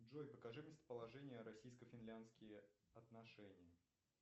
джой покажи местоположение российско финляндские отношения